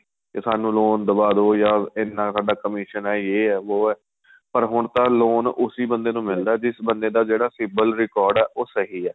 ਕੇ ਸਾਨੂੰ loan ਦਵਾਦੋ ਜਾਂ ਇੰਨਾ ਸਾਡਾ commission ਏ ਜੇ ਆਂ ਵੋ ਆਂ ਪਰ ਹੁਣ ਤਾਂ loan ਉਸੀ ਬੰਦੇ ਨੂੰ ਮਿਲਦਾ ਜਿਸ ਬੰਦਾ ਦਾ ਜਿਹੜਾ civil Record ਏ ਉਹ ਸਹੀਂ ਏ